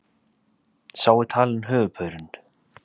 Sá er talinn höfuðpaurinn